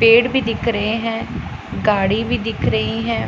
पेड़ भी दिख रहे हैं गाड़ी भी दिख रही है।